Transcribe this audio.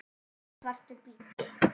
Lítill, svartur bíll.